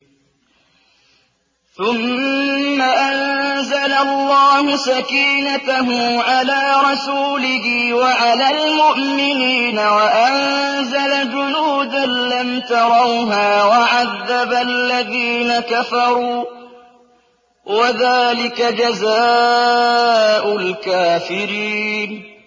ثُمَّ أَنزَلَ اللَّهُ سَكِينَتَهُ عَلَىٰ رَسُولِهِ وَعَلَى الْمُؤْمِنِينَ وَأَنزَلَ جُنُودًا لَّمْ تَرَوْهَا وَعَذَّبَ الَّذِينَ كَفَرُوا ۚ وَذَٰلِكَ جَزَاءُ الْكَافِرِينَ